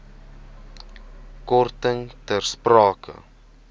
korting ter sprake